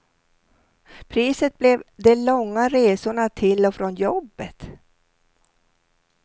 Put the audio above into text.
Priset blev de långa resorna till och från jobbet.